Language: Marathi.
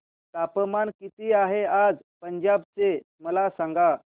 तापमान किती आहे आज पंजाब चे मला सांगा